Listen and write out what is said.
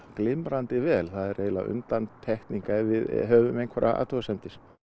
glimrandi vel það er eiginlega undantekning ef við höfum einhverjar athugasemdir